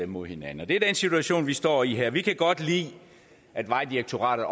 mod hinanden det er den situation vi står i her vi kan godt lide at vejdirektoratet